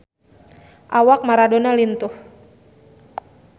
Awak Maradona lintuh